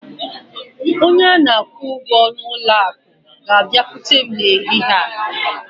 Onye na-akwụ ụgwọ ụlọ akụ ga-abịakwute m n'ehihie a.